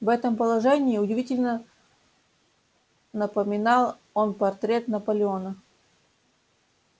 в этом положении удивительно напоминал он портрет наполеона